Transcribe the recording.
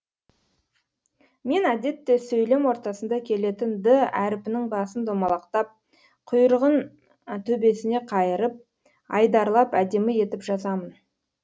мен әдетте сөйлем ортасында келетін д әріпінің басын домалақтап құйрығын төбесіне қайырып айдарлап әдемі етіп жазамын